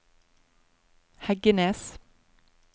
Heggenes